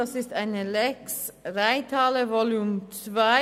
Es handelt sich um eine «Lex Reithalle Volume II».